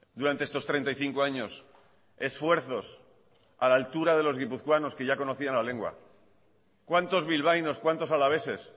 durante estos treinta y cinco años esfuerzos a la altura de los guipuzcoanos que ya conocían la lengua cuántos bilbaínos cuántos alaveses